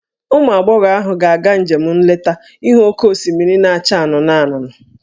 Ụmụ agbọghọ ahụ ga-aga njem nleta ịhụ oke osimiri na-acha anụnụ anụnụ